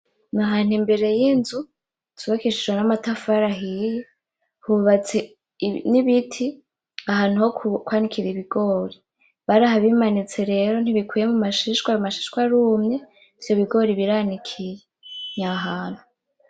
Ni ahantu imbere y'inzu cubakishijwe n'amatafari ahiye n'ibiti ahantu hokwanikira ibigori , barahabimanitse rero ntibikwiye mumashishwa, ayo mashishwa arumye ivyo bigori biranikiye nya hantu.